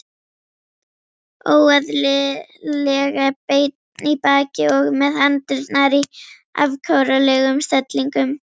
Óeðlilega beinn í baki og með hendurnar í afkáralegum stellingum.